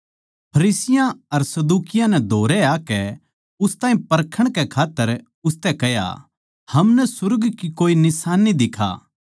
फरिसियाँ अर सदूकियाँ नै धोरै आकै उस ताहीं परखण कै खात्तर उसतै कह्या हमनै सुर्ग की कोई निशान्नी दिखा